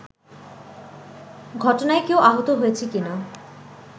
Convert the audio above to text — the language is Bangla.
ঘটনায় কেউ আহত হয়েছে কিনা